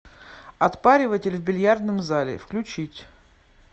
отпариватель в бильярдном зале включить